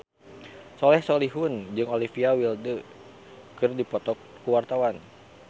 Soleh Solihun jeung Olivia Wilde keur dipoto ku wartawan